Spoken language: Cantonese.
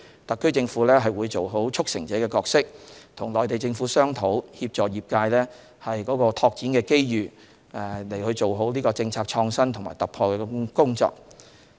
特區政府會做好"促成者"的角色，與內地政府商討，協助業界爭取在拓展機遇過程中做好政策創新和突破的工作。